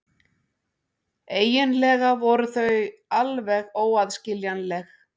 Eiginlega voru þau alveg óaðskiljanleg.